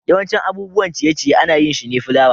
yawancin abubuwan ciye-ciye ana yin shi ne fulawa.